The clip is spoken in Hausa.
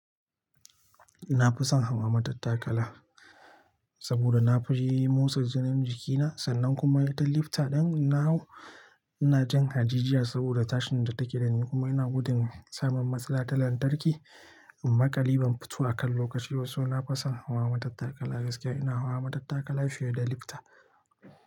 Na fi son hawa matattakala saboda na fi jin motsa jinin jikina sannan kuma ita lifta ɗin na hau ina jin haji jiya saboda tashin da take da ni kuma ina gudun samun matsala ta lantarki amma ƙaliban fito akan lokaci wasu na fasan hawa matattakala gaskiya ina hawa matattakala fiyeda lifta.